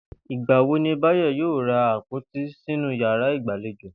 Ìgbà wo ní Báyò̩ yóò ra àpòtí sínú yàrá ìgbàlejò?